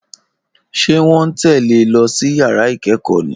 Ṣé wọ́n ń tẹ̀lé e lọ sí yàrá ìkẹ́kọ̀ọ́ ni